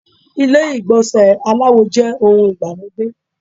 Ilé ìgbọ̀nsẹ̀ aláwo jẹ́ ohun ìgbàlódé.